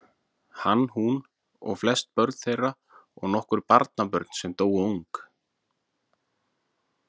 Hann, hún og flest börn þeirra og nokkur barnabörn sem dóu ung.